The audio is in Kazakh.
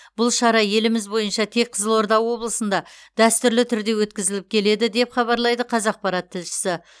бұл шара еліміз бойынша тек қызылорда облысында дәстүрлі түрде өткізіліп келеді деп хабарлайды қазақпарат тілшісі